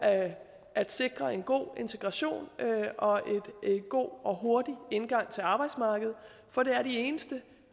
at sikre en god integration og en god og hurtig indgang til arbejdsmarkedet for det er de eneste